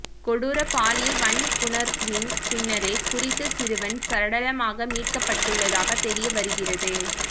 கொடூர பாலியல் வன்புணர்வின் பின்னரே குறித்த சிறுவன் சடலமாக மீட்க்கப்பட்டுள்ளதாக தெரிய வருகிறது